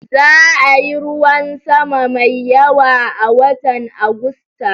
Za'a yi ruwan sama mai yawa a watan Agusta